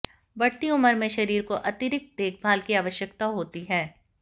बढ़ती उम्र में शरीर को अतिरिक्त देखभाल की आवश्यकता होती है